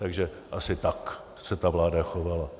Takže asi tak se ta vláda chovala.